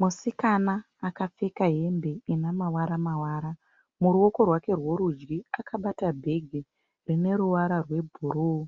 Musikana akapfeka hembe inemawara mawara. Muruoko rwake rwerudyi akabata bhegi rineruwara rwebhuruwu